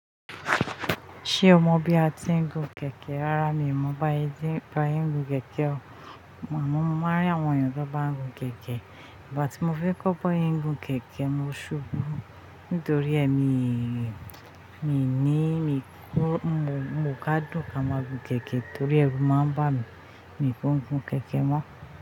Ṣé o mọ bí a ti ń gun kẹ̀kẹ́? Rárá mi ò mọ̀. Báa ṣe ti, báa tiń gun kẹ̀kẹ́, àmọ́ máa rí àwọn ènìyàn tó bá ń gun kẹ̀kẹ́, ìgbàtí mo fẹ́ kọ́ bí wọ́n ṣe ń gun kẹ̀kẹ́ mo ṣubú. Nítorí èmi, mi ní, mo, mo ká dùn ká má gun kẹ̀kẹ́ torí ẹrù máa ń bá mi. Èmi kiń gun kẹ̀kẹ́ mọ́.